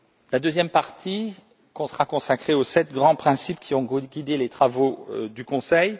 La deuxième partie sera consacrée aux sept grands principes qui ont guidé les travaux du Conseil.